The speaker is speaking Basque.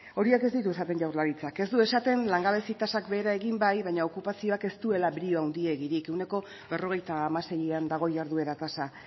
horiek ez ditu esaten jaurlaritzak ez du esaten langabezia tasak behera egin bai baina okupazioak ez duela brio handiegirik ehuneko berrogeita hamaseian dago jarduera tasa